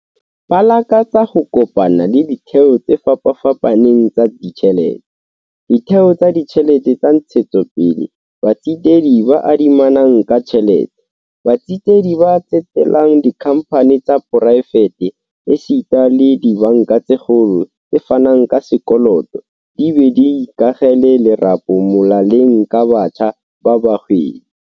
Ba lakatsa ho kopana le ditheo tse fapafapaneng tsa ditjhelete, ditheo tsa ditjhelete tsa ntshetsopele, batsetedi ba adimanang ka tjhelete, batsetedi ba tsetelang dikhamphaneng tsa poraefete esita le dibanka tse kgolo tse fanang ka sekoloto di be di ikakgele lerapo molaleng ka batjha ba bahwebi.